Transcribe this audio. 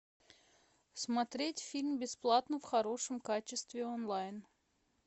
смотреть фильм бесплатно в хорошем качестве онлайн